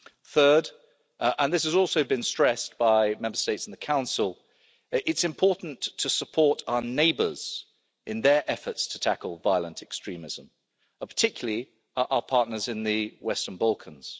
Third and this has also been stressed by Member States in the Council it's important to support our neighbours in their efforts to tackle violent extremism, particularly our partners in the Western Balkans.